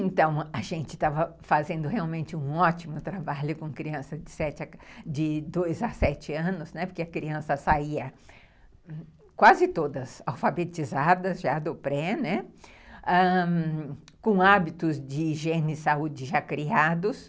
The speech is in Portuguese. Então, a gente estava fazendo realmente um ótimo trabalho com crianças de sete, de dois a sete anos, né, porque a criança saía quase todas alfabetizadas, já do pré, né, ãh, com hábitos de higiene e saúde já criados,